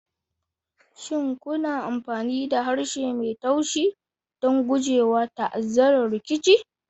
Shin kuna amfani da harshe mai taushi don gujewa ta'azzarar rikici?